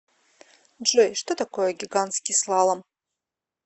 джой что такое гигантский слалом